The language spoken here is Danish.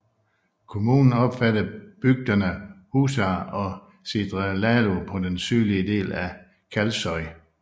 Kommunen omfatter bygderne Húsar og Syðradalur på den sydlige del af Kalsoy